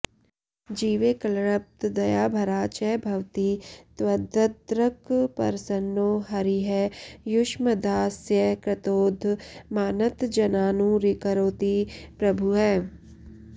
जीवे क्लृप्तदयाभरा च भवती त्वद्दृक्प्रसन्नो हरिः युष्मद्दास्यकृतोद्यमान्नतजनानूरिकरोति प्रभुः